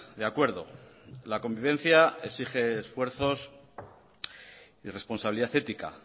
de acuerdo la convivencia exige esfuerzos y responsabilidad ética